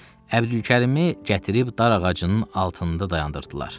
Əbdülkərimi gətirib darağacının altında dayandırdılar.